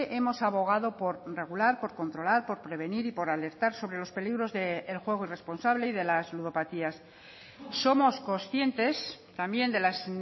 hemos abogado por regular por controlar por prevenir y por alertar sobre los peligros del juego irresponsable y de las ludopatías somos conscientes también de las